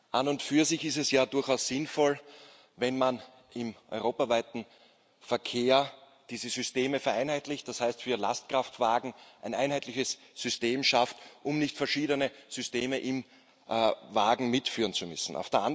An und für sich ist es ja durchaus sinnvoll, wenn man im europaweiten Verkehr diese Systeme vereinheitlicht, das heißt für Lastkraftwagen ein einheitliches System schafft, um nicht verschiedene Systeme im Wagen mitführen zu müssen.